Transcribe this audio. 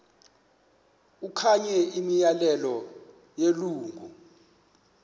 okanye imiyalelo yelungu